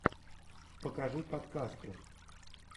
покажи подкасты